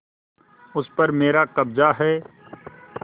उस पर मेरा कब्जा है